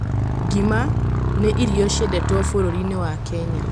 Ngima nĩ irio ciendetwo bũrũri-inĩ wa Kenya.